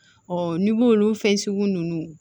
n'i b'olu fɛn sugu ninnu